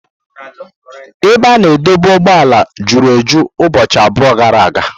Ebe a na-adọba ụgbọala juru eju ụbọchị abụọ gara aga.